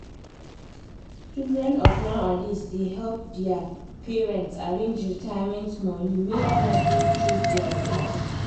children of nowadays da help dia parents arrange retirement money make life no choke dia people